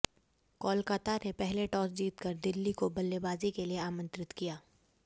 कोलकाता ने पहले टॉस जीत कर दिल्ली को बल्लेबाजी के लिए आमंत्रित किया